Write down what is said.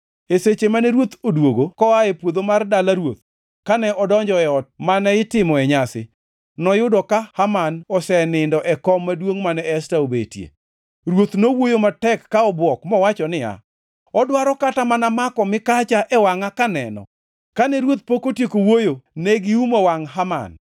E seche mane ruoth odwogo koa e puodho mar dala ruoth kane odonjo e ot mane itimoe nyasi, noyudo ka Haman osenindo e kom maduongʼ mane Esta obetie. Ruoth nowuoyo matek ka obwok mowacho niya, “Odwaro kata mana mako mikacha e wangʼa kaneno?” Kane ruoth pok otieko wuoyo, ne giumo wangʼ Haman.